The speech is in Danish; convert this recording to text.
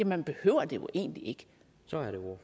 man behøver det jo egentlig ikke